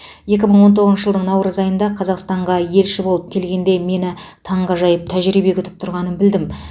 екі мың он тоғызыншы жылдың наурыз айында қазақстанға елші болып келгенде мені таңғажайып тәжірибе күтіп тұрғанын білдім